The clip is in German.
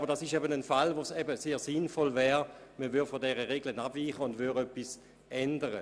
Aber in diesem Fall wäre es sinnvoll, von dieser Regel abzuweichen und etwas zu ändern.